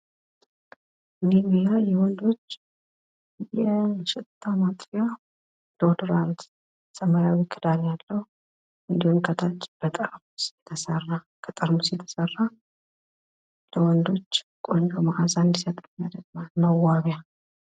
ኒቪያ የወንዶች የሽታ ማጥፊያ ዶድራንት ሰማያዊ ክዳን ያለው እንድሁም ከታች በጠርሙስ የተሰራ ለወንዶች ቆንጆ መአዛ እንድሰጥ የሚያደርግ መዋቢያ።